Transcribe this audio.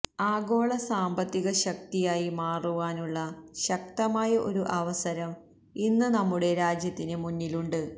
ആഗോള സാമ്പത്തിക ശക്തി ആയി മാറുവാനുള്ള ശക്തമായ ഒരു അവസരം ഇന്ന് നമ്മുടെ രാജ്യത്തിന് മുന്നിൽ ഉണ്ട്